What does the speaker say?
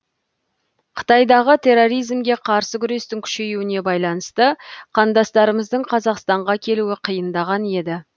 қытайдағы терроризмге қарсы күрестің күшеюіне байланысты қандастарымыздың қазақстанға келуі қиындаған еді